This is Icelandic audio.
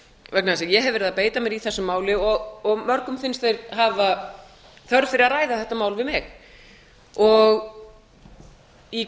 vegna þess að ég hef verið að beita mér í þessu máli og mörgum finnst þeir hafa þörf fyrir að ræða þetta mál við mig í